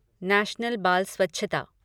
national बाल स्वच्छता